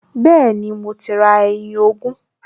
Bẹ́ẹ̀ni, mo ti ra ẹyin ogún